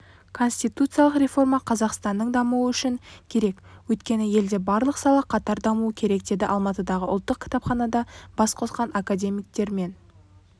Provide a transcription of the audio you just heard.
конституциялық реформа қазақстанның дамуы үшін керек өйткені елде барлық сала қатар дамуы керек деді алматыдағы ұлттық кітапханада бас қосқан академиктер мен